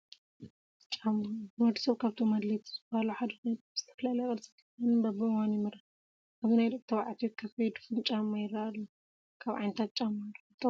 ጫማ፡- ንወዲ ሰብ ካብቶም ኣድለይቲ ዝባሃሉ ሓደ ኾይኑ፣ ብዝተፈላለየ ቅርፅን ዲዛይንን በብእዋኑ ይምረት፡፡ ኣብዚ ናይ ደቂ ተባትዮ ከፈይ ድፉን ጫማ ይረአ ኣሎ፡፡ ካብ ዓይነታት ጫማ ዶ ክትጠቕሱ ትኽእሉ?